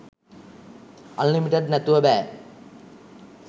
unlimited නැතුව බෑ